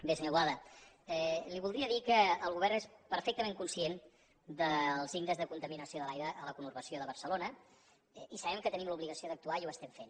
bé senyor boada li voldria dir que el govern és perfectament conscient dels índexs de contaminació de l’aire a la conurbació de barcelona i sabem que tenim l’obligació d’actuar i ho estem fent